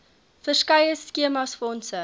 verskeie skemas fondse